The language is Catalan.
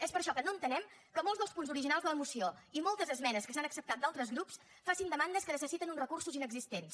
és per això que no entenem que molts dels punts originals de la moció i moltes esmenes que s’han acceptat d’altres grups facin demandes que necessiten uns recursos inexistents